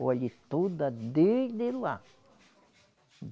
Olhe, toda desde lá.